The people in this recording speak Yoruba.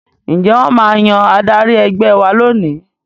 Ǹjẹ́ wọ́n máa yan adarí ẹgbẹ́ wa lónìí